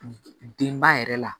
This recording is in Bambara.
Denba yɛrɛ la